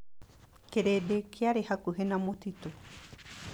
Kĩrĩndĩ kĩarĩ hakuhĩ na mũtitũ.